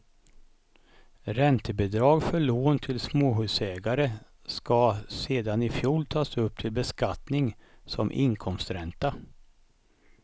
Räntebidrag för lån till småhusägare ska sedan i fjol tas upp till beskattning som inkomstränta.